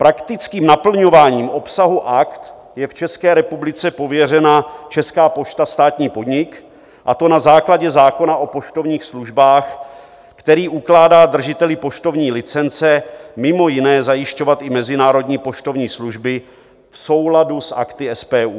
Praktickým naplňováním obsahu Akt je v České republice pověřena Česká pošta, státní podnik, a to na základě zákona o poštovních službách, který ukládá držiteli poštovní licence mimo jiné zajišťovat i mezinárodní poštovní služby v souladu s Akty SPU.